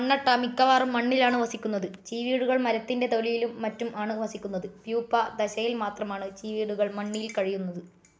മണ്ണട്ട മിക്കവാറും മണ്ണിലാണ് വസിക്കുന്നത്. ചീവീടുകൾ മരത്തിൻ്റെ തൊലിയിലും മറ്റും ആണ് വസിക്കുന്നത്.പ്യൂപ്പ ദശയിൽ മാത്രമാണ് ചീവീടുകൾ മണ്ണീൽ കഴിയുന്നത്.